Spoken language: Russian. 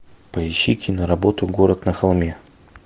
поищи киноработу город на холме